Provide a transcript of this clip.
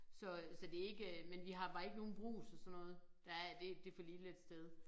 Så øh så det ikke øh men vi har bare ikke nogen Brugs og sådan noget. Der er det det for lille et sted